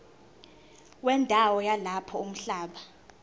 wendawo yalapho umhlaba